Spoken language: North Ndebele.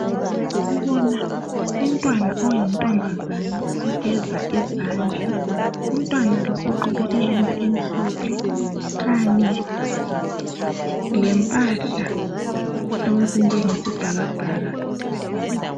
Sibona umntwana oyintombazana ogeza izandla. Umntwana lo ugqoke ihembe emhlophe kanye lempahla ezinjenge sibhakabhaka.